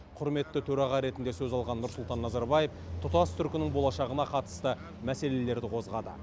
құрметті төраға ретінде сөз алған нұрсұлтан назарбаев тұтас түркінің болашағына қатысты мәселелерді қозғады